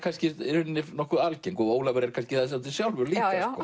nokkuð algeng og Ólafur er það svolítið sjálfur líka já